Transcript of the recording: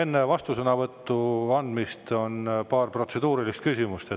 Enne vastusõnavõtu andmist on paar protseduurilist küsimust.